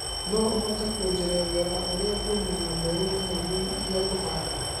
no ũhote kũnjerethera ũria ngũmenya mbegũ nginyanĩrũ iria kũhanda